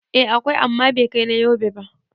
Eh, akwai amma bai kai na Yobe ba